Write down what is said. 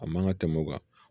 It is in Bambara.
A man ka tɛmɛ o kan